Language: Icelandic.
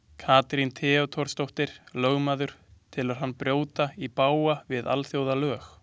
Katrín Theodórsdóttir, lögmaður, telur hann brjóta í bága við alþjóðalög.